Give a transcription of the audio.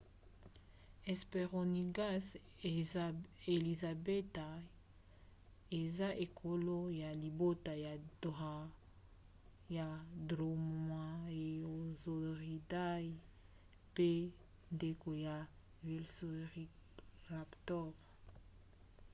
hesperonychus elizabethae eza ekolo ya libota ya dromaeosauridae mpe ndeko ya velociraptor